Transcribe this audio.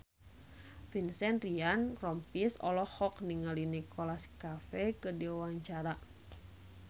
Vincent Ryan Rompies olohok ningali Nicholas Cafe keur diwawancara